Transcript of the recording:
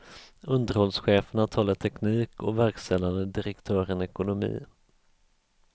Underhållscheferna talar teknik och verkställande direktören ekonomi.